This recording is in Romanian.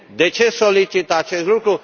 De ce solicit acest lucru?